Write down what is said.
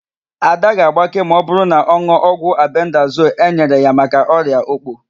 Ada ga-agbake ma ọbụrụ na ọ n̄ụọ ọgwụ albendazol enyere ya maka ọrịa òkpò.